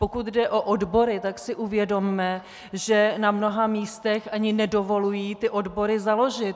Pokud jde o odbory, tak si uvědomme, že na mnoha místech ani nedovolují ty odbory založit!